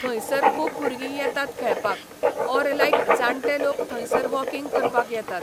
थंयसर खूब भुरगीं येतात खेळपाक, ऑर लायक जाणटे लोक थंयसर वॉकिंग करपाक येतात.